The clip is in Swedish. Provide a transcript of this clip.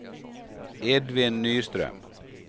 Edvin Nyström